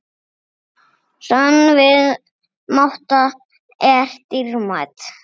Sönn vinátta er dýrmæt.